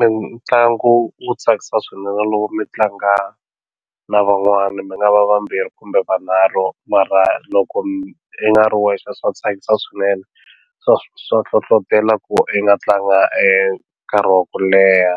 Mitlangu wo tsakisa swinene loko mi tlanga na van'wana mi nga va vambirhi kumbe vunharhu mara loko mi i nga ri wexe swa tsakisa swinene swa swa hlohlotelo ku i nga tlanga nkarhi wa ku leha